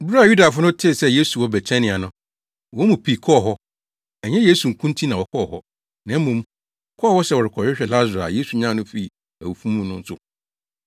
Bere a Yudafo no tee sɛ Yesu wɔ Betania no, wɔn mu pii kɔɔ hɔ. Ɛnyɛ Yesu nko nti na wɔkɔɔ hɔ, na mmom, wɔkɔɔ hɔ sɛ wɔrekɔhwɛ Lasaro a Yesu nyan no fii awufo mu no nso.